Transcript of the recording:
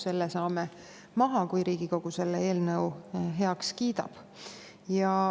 Selle saame maha, kui Riigikogu selle eelnõu heaks kiidab.